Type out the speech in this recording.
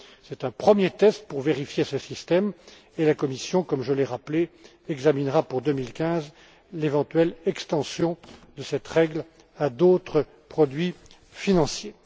C'est un premier test pour mettre ce système à l'épreuve et la Commission, comme je l'ai rappelé, examinera pour 2015 l'éventuelle extension de cette règle à d'autres produits financiers.